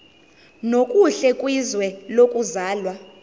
nokuhle kwizwe lokuzalwa